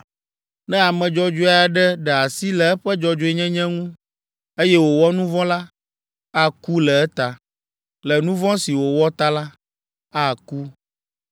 Ne ame dzɔdzɔe aɖe ɖe asi le eƒe dzɔdzɔenyenye ŋu, eye wòwɔ nu vɔ̃ la, aku le eta. Le nu vɔ̃ si wòwɔ ta la, aku.